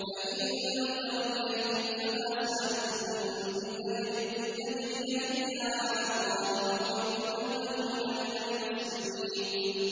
فَإِن تَوَلَّيْتُمْ فَمَا سَأَلْتُكُم مِّنْ أَجْرٍ ۖ إِنْ أَجْرِيَ إِلَّا عَلَى اللَّهِ ۖ وَأُمِرْتُ أَنْ أَكُونَ مِنَ الْمُسْلِمِينَ